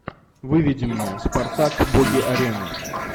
выведи мне спартак боги арены